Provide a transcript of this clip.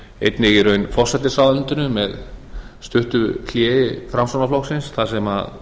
einnig í raun forsætisráðuneytinu með stuttu hléi framsóknarflokksins þar sem